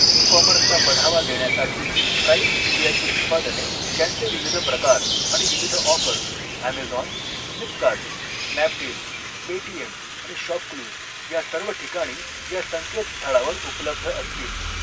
E कॉमर्सला बढावा देण्यासाठी, ट्राईब्ज इंडियाची उत्पादने, त्यांचे विविध प्रकार आणि विविध offers Amazon, Flipkart, Snapdeal, Paytm आणि शॉपक्लूज या सर्व ठिकाणी या संकेत स्थळावर उपलब्ध असतील.